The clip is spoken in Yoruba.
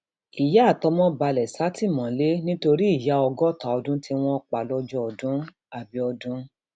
ìyá àtọmọ balẹ sátìmọlé nítorí ìyá ọgọta ọdún tí wọn pa lọjọdún abiodun